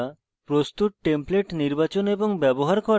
প্রস্তুত templates নির্বাচন এবং ব্যবহার করা